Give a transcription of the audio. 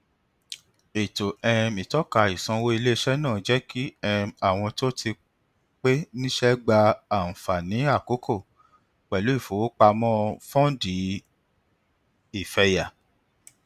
ètò um ìtọka ìsanwó iléiṣẹ náà jẹ kí um àwọn tó ti pé níṣẹ gba àǹfààní àkókò pẹlú ìfowópamọ fọndì ìfẹyà